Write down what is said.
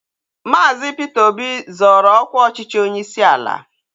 Maazi Peter Obi zoro ọkwa ọchịchị onyeisi ala